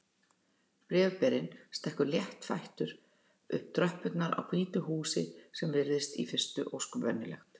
Bréfberinn stekkur léttfættur upp tröppurnar á hvítu húsi sem virðist í fyrstu ósköp venjulegt.